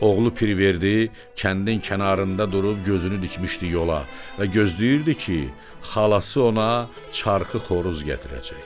Oğlu Pirverdi kəndin kənarında durub gözünü dikmişdi yola və gözləyirdi ki, xalası ona çarxı xoruz gətirəcək.